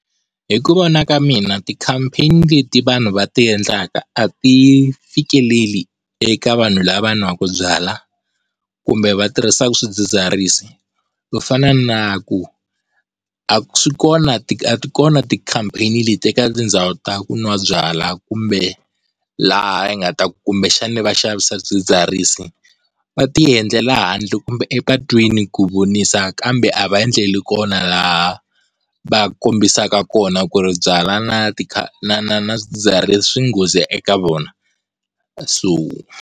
Hi ku vona ka mina ti-campaign-i leti vanhu va tiendlaka a ti fikeleli eka vanhu lava nwaka byalwa, kumbe va tirhisaka swidzidziharisi ku fana na ku a swi kona a ti kona ti-campaign-i leti eka tindhawu ta ku nwa byalwa kumbe laha hi nga ta kumbexana va xavisa swidzidziharisi. Va tiendlela handle kumbe epatwini ku vonisa kambe a va endleli kona laha va kombisaka kona ku ri byalwa na ti na na swidzidziharisi swi nghozi eka vona, so.